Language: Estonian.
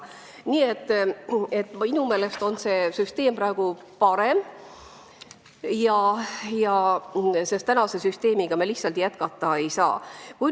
Nii et minu meelest on see süsteem parem ja senise süsteemiga lihtsalt jätkata ei saa.